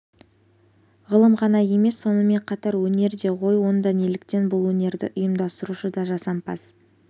ғылым ғана емес сонымен қатар өнер де ғой онда неліктен бұл өнерді ұйымдастырушы да жасампаз